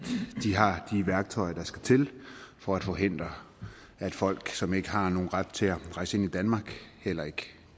værktøjer der skal til for at forhindre at folk som ikke har nogen ret til at rejse ind i danmark